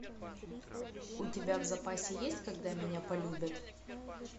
у тебя в запасе есть когда меня полюбят